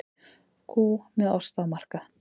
Kú með osta á markað